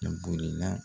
A bolila